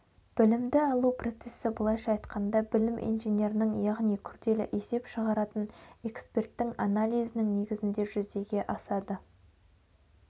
білімді алу процесі былайша айтқанда білім инженерінің яғни күрделі есеп шығаратын эксперттің анализінің негізінде жүзеге асады